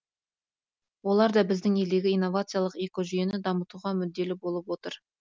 олар да біздің елдегі инновациялық экожүйені дамытуға мүдделі болып отыр